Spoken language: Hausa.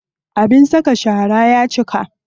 Abin saka shara ya cika.